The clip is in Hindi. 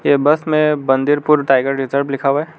ये बस में बंदिरपुर टाइगर रिजर्व लिखा हुआ है।